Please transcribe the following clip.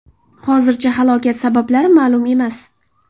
Hozircha halokat sabablari ma’lum emas.